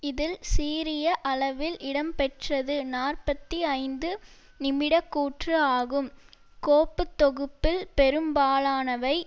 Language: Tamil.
இதில் சீரிய அளவில் இடம்பெற்றது நாற்பத்தி ஐந்து நிமிடக்கூற்று ஆகும் கோப்புத்தொகுப்பில் பெரும்பாலானவை